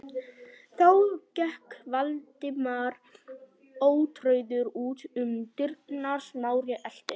Þá gekk Valdimar ótrauður út um dyrnar, Smári elti.